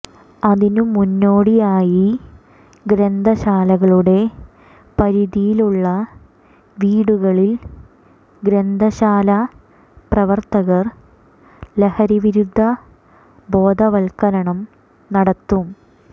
അതിനു മുന്നോടിയായി ഗ്രന്ഥശാലകളുടെ പരിധിയിലുള്ള വീടുകളിൽ ഗ്രന്ഥശാല പ്രവർത്തകർ ലഹരിവിരുദ്ധ ബോധവൽക്കരണം നടത്തും